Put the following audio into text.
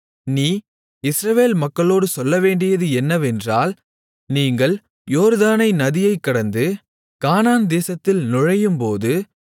நீ இஸ்ரவேல் மக்களோடு சொல்லவேண்டியது என்னவென்றால் நீங்கள் யோர்தானை நதியைக் கடந்து கானான் தேசத்தில் நுழையும்போது